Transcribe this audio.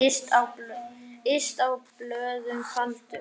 Yst á blöðum faldur.